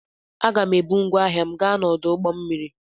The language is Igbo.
Aga m ebu ngwá ahịa m gaa n'ọdụ ụgbọ mmiri.